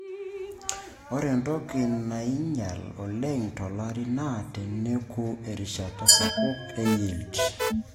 ore entoki naing'ial oleng to lari naa tenenuki erishata sapuk e yield